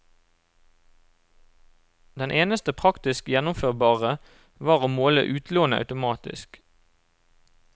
Det eneste praktisk gjennomførbare var å måle utlånet automatisk.